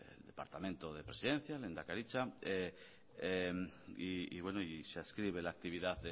el departamento de presidencia lehendakaritza y se adscribe la actividad